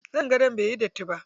Zanin gadon baiyi datti ba.